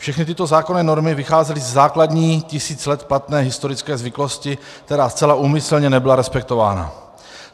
Všechny tyto zákonné normy vycházely ze základní tisíc let platné historické zvyklosti, která zcela úmyslně nebyla respektována.